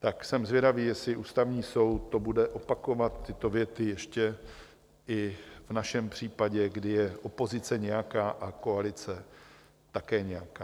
Tak jsem zvědavý, jestli Ústavní soud to bude opakovat, tyto věty, ještě i v našem případě, kdy je opozice nějaká a koalice také nějaká.